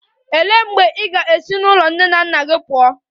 Olee mgbe ị ga-esi n'ụlọ nne na nna gị pụọ?